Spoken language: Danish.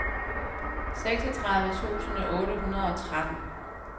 seksogtredive tusind otte hundrede og tretten